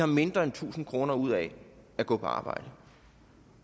mindre end tusind kroner ud af at gå på arbejde